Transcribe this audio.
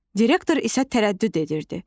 Direktor isə tərəddüd edirdi.